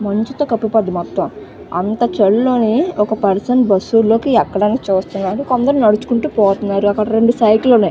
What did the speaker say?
మంచు తో కప్పపడి ఉంది మొత్తం అంత చలి లోనే ఒక పర్సన్ బస్సు లోకి ఎక్కడానికి చూస్తున్నాడు కొందరు నడుచుకుంటూ పోతున్నారు అక్కడ రెండు సైకిలు ఉన్నాయి .